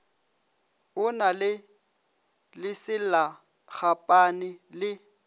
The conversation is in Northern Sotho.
o na le leselagapane le